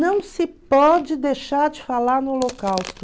Não se pode deixar de falar no holocausto.